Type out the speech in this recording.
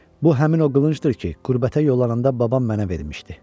Bu həmin o qılıncdır ki, qürbətə yollananda babam mənə vermişdi.